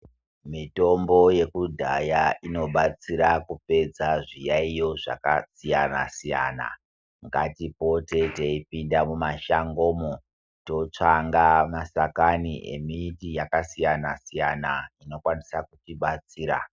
Mitombo yekudhaya inobatsira kupedza zviyaiyo zvakasiyana-siyana. Ngatipote teipinda mumashangomo teitsvanga nashakani emiti yakasiyana-siyana inokwanisa kuti batsira.